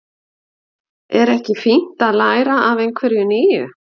Er ekki fínt að læra af einhverju nýju?